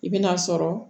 I bɛ n'a sɔrɔ